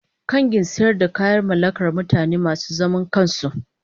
kangin sayar da kayayaki mallakar mutane ne masu zaman kansu.